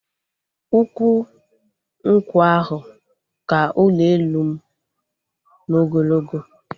Ukwu nkwụ ahụ ka ụlọ elu m n'ogologo